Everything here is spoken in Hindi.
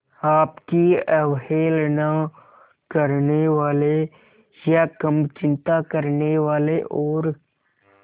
आपकी अवहेलना करने वाले या कम चिंता करने वाले और